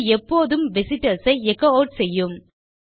இது எப்போதும் விசிட்டர்ஸ் ஐ எச்சோ ஆட் செய்யும்